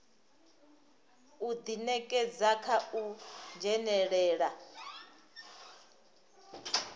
u ḓinekedza kha u dzhenelela